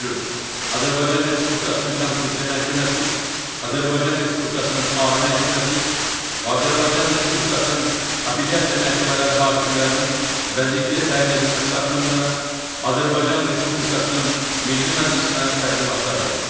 Azərbaycan Respublikasının Konstitusiya Məhkəməsi, Azərbaycan Respublikasının Ali Məhkəməsi və Azərbaycan Respublikasının apellyasiya məhkəmələri hakimlərinin vəzifəyə təyin edilməsi haqqında Azərbaycan Respublikasının Milli Məclisinə təqdimatlar verir.